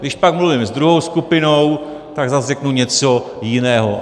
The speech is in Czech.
Když pak mluvím s druhou skupinou, tak zase řeknu něco jiného.